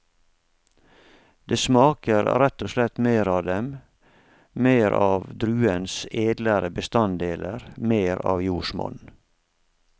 Det smaker rett og slett mer av dem, mer av druens edlere bestanddeler, mer av jordsmonn.